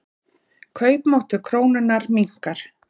Kaupmáttur krónunnar minnkar.